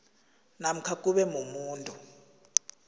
namkha kube mumuntu